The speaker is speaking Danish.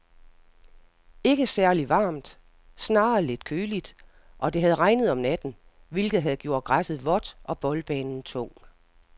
Ikke særligt varmt, snarere lidt køligt, og det havde regnet om natten, hvilket havde gjort græsset vådt og boldbanen tung.